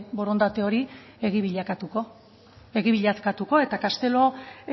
borondate hori egi bilakatuko eta castelo